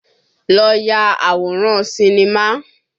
Lọ ya àwòrán sinimá!